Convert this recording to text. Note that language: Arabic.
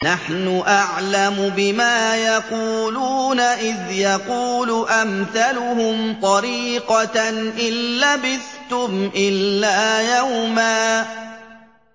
نَّحْنُ أَعْلَمُ بِمَا يَقُولُونَ إِذْ يَقُولُ أَمْثَلُهُمْ طَرِيقَةً إِن لَّبِثْتُمْ إِلَّا يَوْمًا